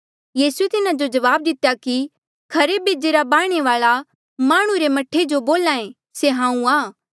यीसूए तिन्हा जो जवाब दितेया कि खरे बेजे रा बाह्णे वाल्आ माह्णुं रा मह्ठा जो बोल्हा ऐें से हांऊँ आं